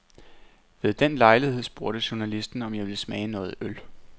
Ved den lejlighed spurgte journalisten, om jeg ville smage noget øl.